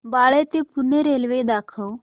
बाळे ते पुणे रेल्वे दाखव